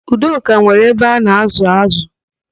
Udoka nwere abe a na-ázụ̀ ázụ̀.